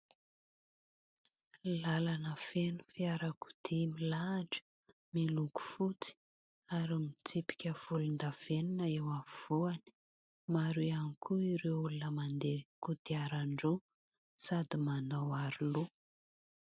Lalana feno fiarakodia milahatra miloko fotsy ary mitsipika volondavenona eo afovoany ; maro ihany koa ireo olona mandeha kodiaran-droa sady manao aro loha.